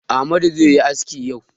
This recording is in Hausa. Amadu zai yi aski yau.